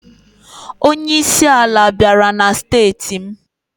Onyeisi ala bịara na steeti m.